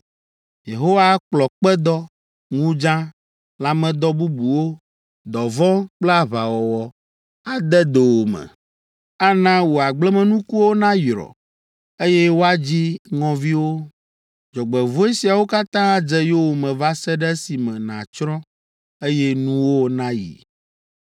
Yehowa akplɔ kpedɔ, ŋudza, lãmedɔ bubuwo, dɔvɔ̃ kple aʋawɔwɔ ade dowòme. Ana wò agblemenukuwo nayrɔ, eye woadzi ŋɔviwo. Dzɔgbevɔ̃e siawo katã adze yowòme va se ɖe esime nàtsrɔ̃, eye nuwò nayi.